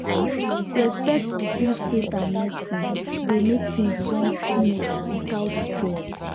respect between faith and medicine dey make things run smooth without stress